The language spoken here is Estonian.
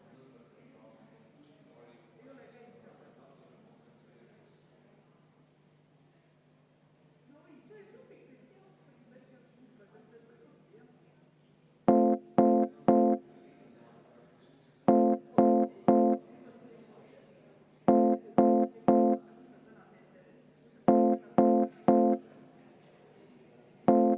Muudatusettepaneku esitajaks on põhiseaduskomisjon, põhiseaduskomisjon on seda arvestanud täielikult.